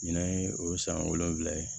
Ɲinan ye o ye san wolonwula ye